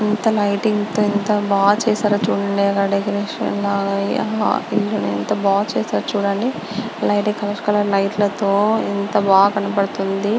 ఎంత లైటింగ్ తో ఎంత బా చేసారో చుడండి అక్కడ డెకరేషన్ అన్ని అవి ఎంత బా చేసారో చుడండి లిట్ కలర్ కలర్ లైట్ ల తో ఎంత బా కనబడుతుంది.